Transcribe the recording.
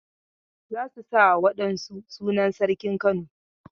Za su sa wa wa ɗan su sunan sarkin Kano.